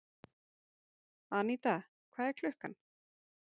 Aníta, hvað er klukkan?